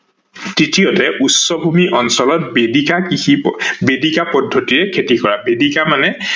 তৃতীয়তে উচ্চভূমি অঞ্চল বেদিকা কৃষি, বেদিকা পদ্ধতিৰে খেতি কৰা হয়, বেদিকা মানে